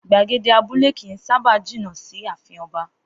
Gbagede abúlé kì í sábá jìnà sí ààfin o̩ba